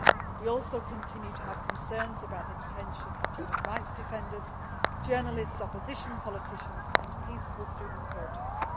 We also continue to have concerns about the detention of human rights defenders, journalists, opposition politicians and peaceful student protesters.